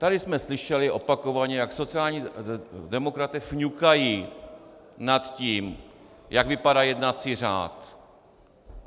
Tady jsme slyšeli opakovaně, jak sociální demokraté fňukají nad tím, jak vypadá jednací řád.